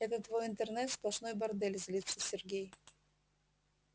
это твой интернет сплошной бордель злится сергей